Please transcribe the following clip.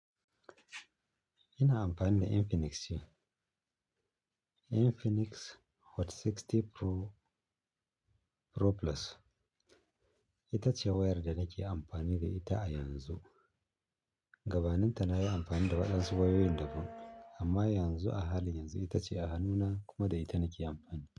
Ina amfani da Infinix ce. Infinix Hot 60 Pro, Pro Plus. Ita ce wayar da nake amfani da ita a yanzu. Gabaninta na yi amfani da waɗansu wayoyin daban amma yanzu a halin yanzu ita ce a hannuna kuma da ita nake amfani.